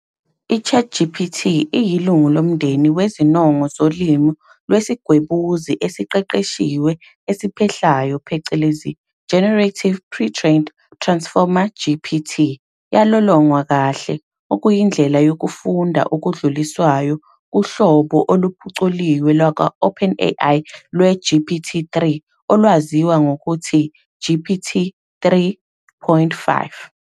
I-ChatGPT iyilungu lomndeni wezinongo zolimi lwesiGwebuzi esesiQeqeshiwe esiPhehlayo phecelezi generative pre-trained transformer GPT,". Yalolongwa kahle, okuyindlela yokufunda okudluliswayo, kuhlobo oluphuculiwe lakwa-OpenAI lwe-GPT-3 olwaziwa ngokuthi "GPT 3.5".